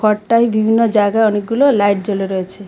ঘরটায় বিভিন্ন জায়গায় অনেকগুলো লাইট জ্বলে রয়েছে।